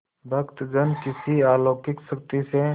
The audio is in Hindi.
भक्तजन किसी अलौकिक शक्ति से